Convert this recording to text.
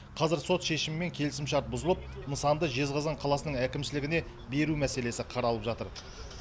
қазір сот шешімімен келісімшарт бұзылып нысанды жезқазған қаласының әкімшілігіне беру мәселесі қаралып жатыр